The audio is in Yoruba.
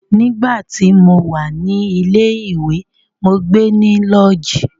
Nígbà tí mo wà ní ilé ìwé, mó gbe ní lọ́ọ̀jí.